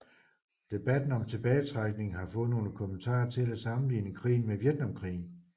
Debatten om tilbagetrækning har fået nogle kommentatorer til at sammenligne krigen med Vietnamkrigen